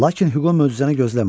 Lakin Hüqo möcüzəni gözləmədi.